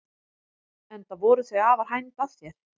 Enda voru þau afar hænd að þér.